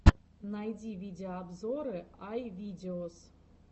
найди видеообзоры ай видеос